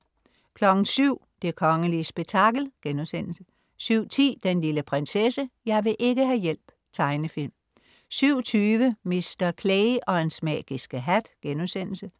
07.00 Det kongelige spektakel* 07.10 Den lille prinsesse. Jeg vil ikke ha' hjælp! Tegnefilm 07.20 Mr. Clay og hans magiske hat*